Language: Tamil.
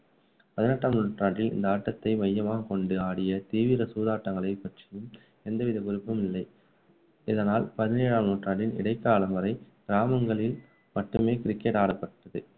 பதினெட்டாம் நூற்றாண்டில் இந்த ஆட்டத்தை மையமாகக் கொண்டு ஆடிய தீவிர சூதாட்டங்களைப் பற்றியும் எந்த வித குறிப்பும் இல்லை. இதனால் பதினேழாம் நூற்றாண்டின் இடைக்காலம் வரை கிராமங்களில் மட்டுமே cricket ஆடப்பட்டது